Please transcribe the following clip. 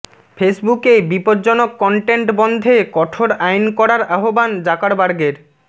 ফেসবুকে বিপজ্জনক কন্টেন্ট বন্ধে কঠোর আইন করার আহ্বান জাকারবার্গের